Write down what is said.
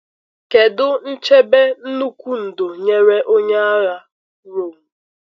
Kedu nchebe nnukwu ndo nyere onye nyere onye um agha Rom?